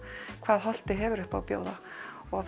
hvað Holtið hefur upp á að bjóða og